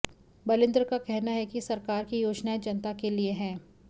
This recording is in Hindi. बलिन्द्र का कहना है कि सरकार की योजनाएं जनता के लिए हैं